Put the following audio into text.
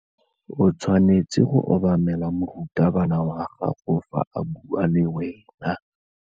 O tshwanetse go obamela morutabana wa gago fa a bua le wena.